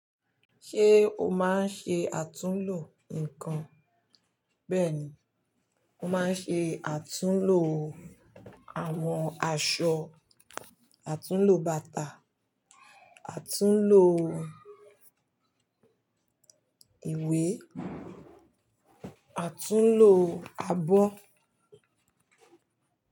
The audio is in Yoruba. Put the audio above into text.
Ṣé o máa ń ṣe àtúnlo nǹkan? Bẹ́ẹ̀ni, mo máa ń ṣe àtúnlò àwọn aṣọ, àtúnlo bàtà, àtúnlo ìwé, àtúnlo abọ́.